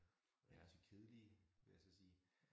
Og de altså kedelige vil jeg så sige